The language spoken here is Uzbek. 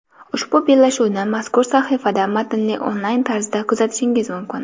Ushbu bellashuvni mazkur sahifada matnli onlayn tarzida kuzatishingiz mumkin.